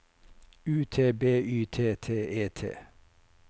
U T B Y T T E T